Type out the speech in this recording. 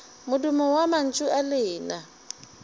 modumo wa mantšu a lena